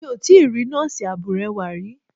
Mi ò tíì rí Nọ́ọ̀sì abúrẹ́wà rí.